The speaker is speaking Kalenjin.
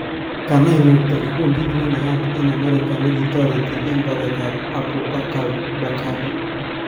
Kanai ngo'gto kikundit nenayat eng America nekitoreti eng baretab Abu Bak al- Bakhadi.